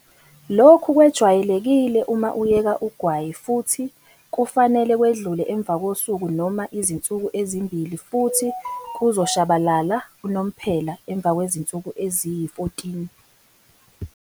Lokhu kwejwayelekile uma uyeka ugwayi futhi kufanele kwedlule emva kosuku noma izinsuku ezimbili futhi kuzoshabalala unomphela emva kwezinsuku eziyi-14.